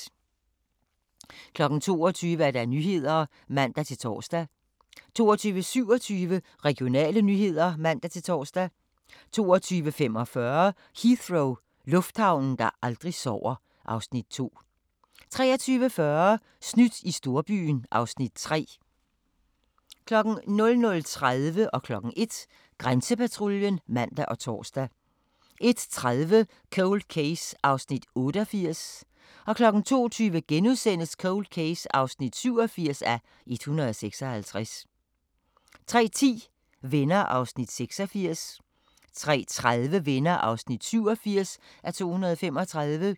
22:00: Nyhederne (man-tor) 22:27: Regionale nyheder (man-tor) 22:45: Heathrow – lufthavnen, der aldrig sover (Afs. 2) 23:40: Snydt i storbyen (Afs. 3) 00:30: Grænsepatruljen (man og tor) 01:00: Grænsepatruljen (man og tor) 01:30: Cold Case (88:156) 02:20: Cold Case (87:156)* 03:10: Venner (86:235) 03:30: Venner (87:235)